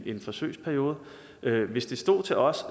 en forsøgsperiode hvis det stod til os